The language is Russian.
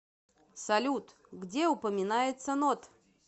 салют где упоминается нод